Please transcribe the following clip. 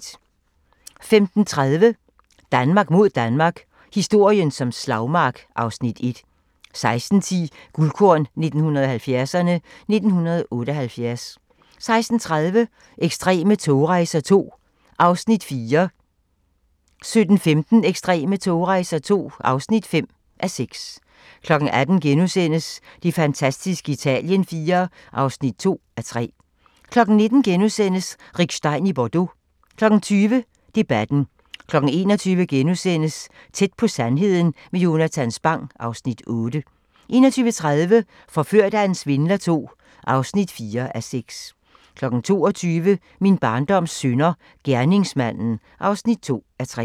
15:30: Danmark mod Danmark – historien som slagmark (Afs. 1) 16:10: Guldkorn 1970'erne: 1978 16:30: Ekstreme togrejser II (4:6) 17:15: Ekstreme togrejser II (5:6) 18:00: Det fantastiske Italien IV (2:3)* 19:00: Rick Stein i Bordeaux * 20:00: Debatten 21:00: Tæt på sandheden med Jonatan Spang (Afs. 8)* 21:30: Forført af en svindler II (4:6) 22:00: Min barndoms synder - gerningsmanden (2:3)